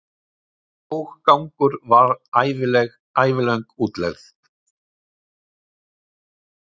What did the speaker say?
Skóggangur var ævilöng útlegð.